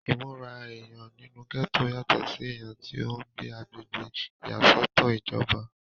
ìmúra èèyàn nínú gẹ́tò yàtọ̀ sí èèyàn tí ó ń gbé agbègbè ìyàsọ́tọ̀ ìjọba